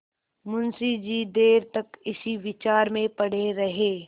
मुंशी जी देर तक इसी विचार में पड़े रहे